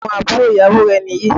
Ṣé àwọn àbúrò ìyàwó rẹ̀ ni yìí?